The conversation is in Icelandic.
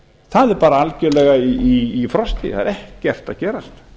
það er bara algjörlega í frosti það er ekkert að gerast